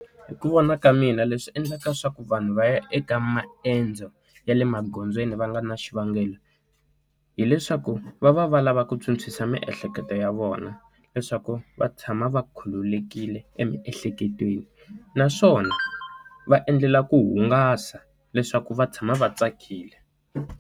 Hi ku vona ka mina leswi endlaka leswaku vanhu va ya eka maendzo ya le magondzweni va nga na xivangelo, hileswaku va va va lava ku Phyuphyisa miehleketo ya vona vona leswaku va tshama va khululekile emiehleketweni. Naswona va endlela ku hungasa leswaku va tshama va tsakile.